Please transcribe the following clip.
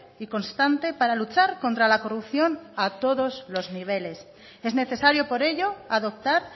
y constante para luchar contra la corrupción a todos los niveles es necesario por ello adoptar